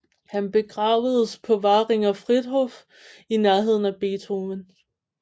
Han begravedes på Währinger Friedhof i nærheden af Beethoven